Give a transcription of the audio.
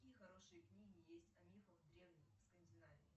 какие хорошие книги есть о мифах древней скандинавии